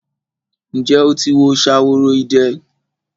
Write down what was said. Ǹjẹ́ o ti wo Ṣaworoide?